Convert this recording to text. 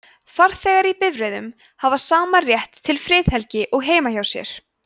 farþegar í bifreiðum hafa sama rétt til friðhelgi og heima hjá sér